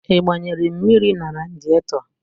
Ị gbanyere mmiri na radịetọ?